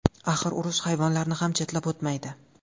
Axir urush hayvonlarni ham chetlab o‘tmaydi.